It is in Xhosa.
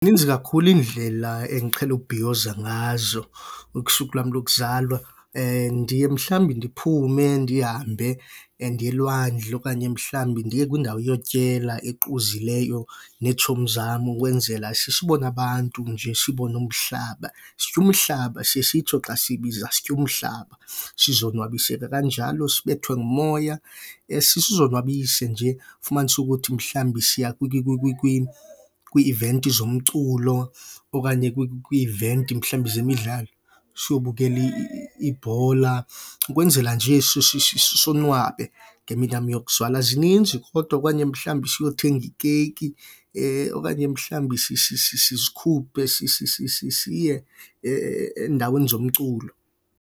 kakhulu iindlela endiqhele ubhiyoza ngazo usuku lwam lokuzalwa. Ndiye mhlawumbi ndiphume ndihambe ndiye elwandle okanye mhlawumbi ndiye kwindawo yokutyela equzileyo neetshomi zam ukwenzela sibone abantu nje, sibone umhlaba. Sitya umhlaba, siye sitsho xa siyibiza sitya umhlaba. Sizonwabise ke kanjalo sibethwe ngumoya, sizonwabise nje. Ufumanise ukuthi mhlambi siya kwii-iventi zomculo okanye kwii-iventi mhlawumbi zemidlalo siyobukela ibhola, ukwenzela nje sonwabe ngemini yam yokuzalwa. Zininzi kodwa okanye mhlawumbi siyothenga ikeyiki okanye mhlawumbi sizikhuphe siye endaweni zomculo.